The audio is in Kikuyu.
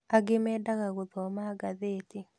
Angĩ mendaga gũthoma ngathĩti